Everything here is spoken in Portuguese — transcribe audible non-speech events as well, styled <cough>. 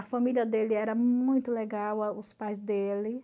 A família dele era muito legal <unintelligible> os pais dele.